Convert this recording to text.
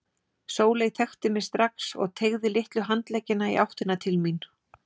Sóley þekkti mig strax og teygði litlu handleggina í áttina til mín.